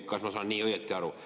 Kas ma saan õigesti aru?